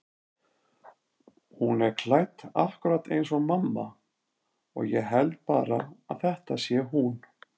Hún er klædd akkúrat eins og mamma og ég held bara að þetta sé hún.